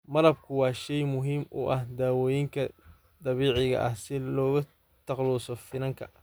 Malabku waa shay muhiim u ah dawooyinka dabiiciga ah si looga takhaluso finanka.